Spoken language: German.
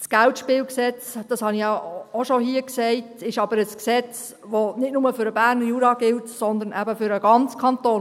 Das KGSG – das habe ich auch schon hier gesagt – ist aber ein Gesetz, das nicht nur für den Berner Jura gilt, sondern eben für den ganzen Kanton.